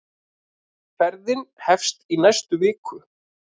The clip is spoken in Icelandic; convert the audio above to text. Ferðin hefst í næstu viku.